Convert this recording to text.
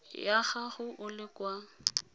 ya gago o le kwa